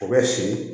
O bɛ si